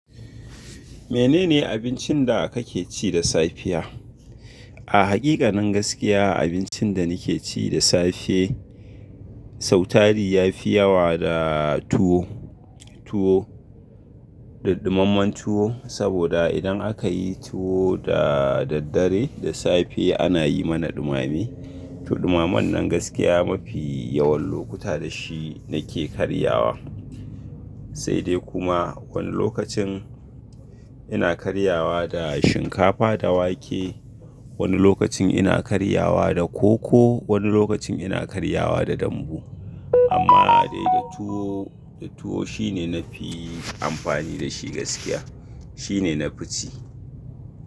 Menene abincin da kake ci da safiya? A hakikanin gaskiya abincin da nake ci da safe, sautari yafi yawa da tuwo, tuwo, daddummamen tuwo, saboda idan akayi tuwo da daddare, da safe ana yi mana ɗumame. To ɗumamen nan gaskiya mafi yawan lokuta da shi nake karyawa. Sai dai kuma wani lokacin ina karyawa da shinkafa da wake, wani lokacin ina karyawa da koko, wani lokacin ina karyawa da dambu. Amma dai da tuwo, da tuwo shine nafi amfani da shi gaskiya. Shine nafi ci.